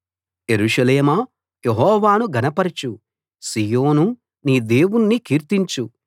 యెరూషలేమా యెహోవాను ఘనపరచు సీయోనూ నీ దేవుణ్ణి కీర్తించు